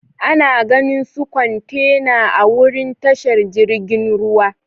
Ana ganin su kwantena a'wurin tashar jirigin ruwa.